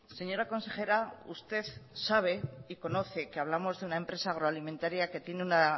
señora consejera usted sabe y conoce que hablamos de una empresa agroalimentaria que tiene